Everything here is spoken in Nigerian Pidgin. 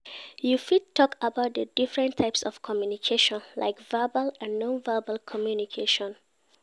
You fit talk about di different types of communication, like verbal and non-verbal communication.